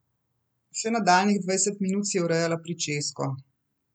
Še nadaljnjih dvajset minut si je urejala pričesko.